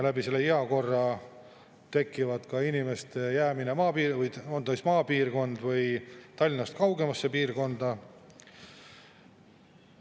Heakorrastki inimeste jäämine maapiirkonda või lihtsalt Tallinnast kaugemasse piirkonda.